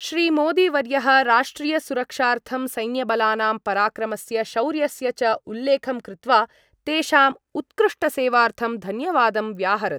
श्रीमोदीवर्यः राष्ट्रीयसुरक्षार्थं सैन्यबलानां पराक्रमस्य शौर्यस्य च उल्लेखं कृत्वा तेषाम् उत्कृष्टसेवार्थं धन्यवादं व्याहरत्।